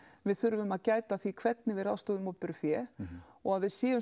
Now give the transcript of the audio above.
við þurfum að gæta að því hvernig við ráðstöfum opinberu fé og að við séum